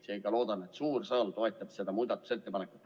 Seega ma loodan, et suur saal toetab seda muudatusettepanekut.